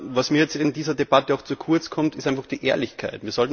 Was mir in dieser Debatte zu kurz kommt, ist einfach die Ehrlichkeit.